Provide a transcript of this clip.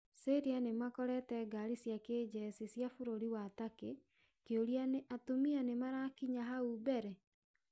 Syria nĩmakorete gari cia kĩjesi ya bũrũri wa Turkey, kĩũria ni atumia othe nĩmarakinya hau mbere?